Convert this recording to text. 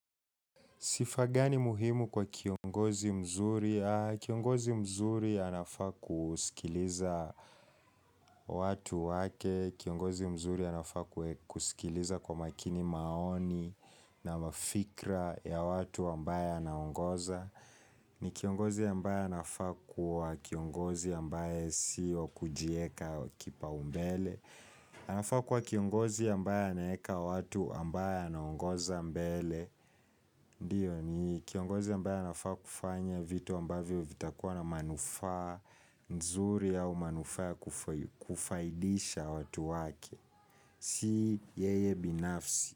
Sifa gani muhimu kwa kiongozi mzuri. Kiongozi mzuri anafaa kusikiliza watu wake. Kiongozi mzuri anafaa kusikiliza kwa makini maoni na mafikra ya watu ambaye anaongoza. Ni kiongozi ambaye anafaa kuwa kiongozi ambae sio kujieka kipaumbele anafaa kuwa kiongozi ambaye anaeka watu ambaye anaongoza mbele Ndio ni kiongozi ambaye anafa kufanya vitu ambavyo vitakuwa na manufaa nzuri au manufaa kufaidisha watu wake Si yeye binafsi.